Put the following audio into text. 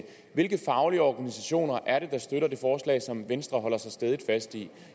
hvilke faglige organisationer er det der støtter det forslag som venstre holder så stædigt fast i